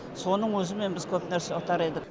соның өзімен біз көп нәрсе ұтар едік